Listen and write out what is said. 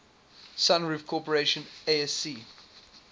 sunroof corporation asc